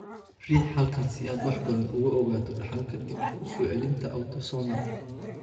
Riix halkan si aad wax badan uga ogaato dhaxalka dib u soo celinta autosomal.